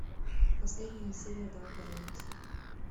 последняя серия давай поженимся